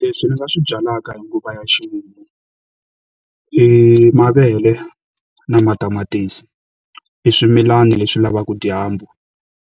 Leswi ndzi swi byalaka hi nguva ya ximumu, i mavele, na matamatisi. I swimilana leswi lavaka dyambu